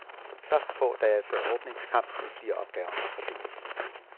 Først få dage før åbningskampen blive opgaverne fordelt.